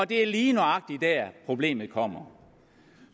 det er lige nøjagtig der problemet kommer